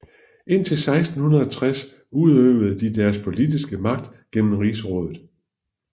Indtil 1660 udøvede de deres politiske magt gennem Rigsrådet